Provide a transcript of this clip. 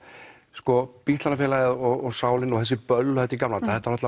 sko bítlavinafélagið og sálin og þessi böll og þetta í gamla daga þetta var